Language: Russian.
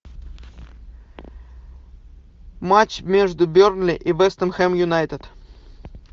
матч между бернли и вест хэм юнайтед